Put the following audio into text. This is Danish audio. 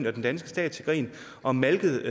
og den danske stat til grin og malket